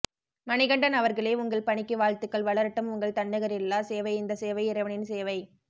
மணிகண்டன் அவர்களே உங்கள் பணிக்கு வாழ்த்துக்கள் வளரட்டும் உங்கள் தன்னிகரில்லா சேவை இந்த சேவை இறைவனின் சேவை